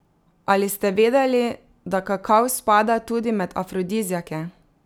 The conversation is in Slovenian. Ali ste vedeli, da kakav spada tudi med afrodiziake?